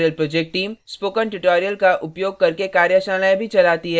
spoken tutorial project team spoken tutorial का उपयोग करके कार्यशालाएँ भी चलाती है